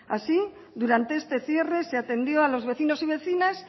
así durante este cierre se atendió a los vecinos y vecinas